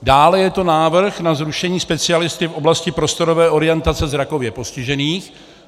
Dále je to návrh na zrušení specialisty v oblasti prostorové orientace zrakově postižených.